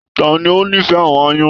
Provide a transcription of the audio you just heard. Tani o n'ifẹ àwọn aáyán?